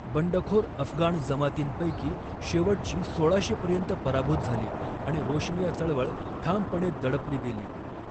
बंडखोर अफगाण जमातींपैकी शेवटची सोळाशे पर्यंत पराभूत झाली आणि रोशनिया चळवळ ठामपणे दडपली गेली.